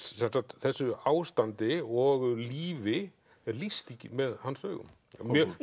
þessu ástandi og lífi er lýst með hans augum mjög